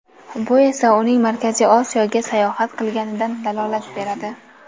Bu esa uning Markaziy Osiyoga sayohat qilganidan dalolat beradi.